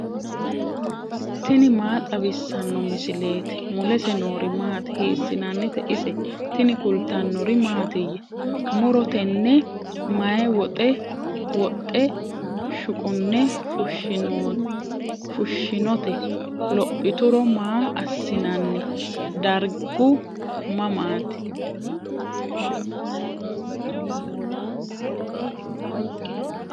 tini maa xawissanno misileeti ? mulese noori maati ? hiissinannite ise ? tini kultannori mattiya? muro tenne may woxxe shuqunne fushinnotte? lophituro ma asi'nanni? darigu mamaatti?